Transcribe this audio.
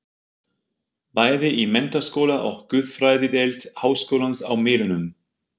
Bæði í menntaskóla og guðfræðideild háskólans á Melunum.